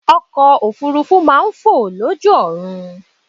Ọkọ̀ òfuurufú máa ń fò lójú ọ̀run.